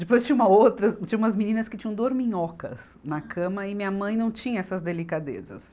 Depois tinha uma outra, tinha umas meninas que tinham dorminhocas na cama e minha mãe não tinha essas delicadezas.